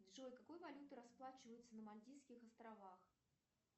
джой какой валютой расплачиваются на мальдивских островах